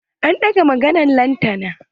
An ɗaga maganan lantana.